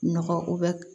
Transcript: Nɔgɔ ko bɛ